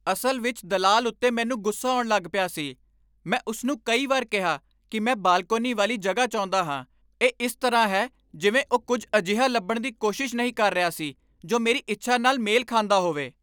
ਅਸਲ ਵਿੱਚ ਦਲਾਲ ਉੱਤੇ ਮੈਨੂੰ ਗੁੱਸਾ ਆਉਣ ਲੱਗ ਪਿਆ ਸੀ। ਮੈਂ ਉਸ ਨੂੰ ਕਈ ਵਾਰ ਕਿਹਾ ਕਿ ਮੈਂ ਬਾਲਕੋਨੀ ਵਾਲੀ ਜਗ੍ਹਾ ਚਾਹੁੰਦਾ ਹਾਂ। ਇਹ ਇਸ ਤਰ੍ਹਾਂ ਹੈ ਜਿਵੇਂ ਉਹ ਕੁੱਝ ਅਜਿਹਾ ਲੱਭਣ ਦੀ ਕੋਸ਼ਿਸ਼ ਨਹੀਂ ਕਰ ਰਿਹਾ ਸੀ ਜੋ ਮੇਰੀ ਇੱਛਾ ਨਾਲ ਮੇਲ ਖਾਂਦਾ ਹੋਵੇ।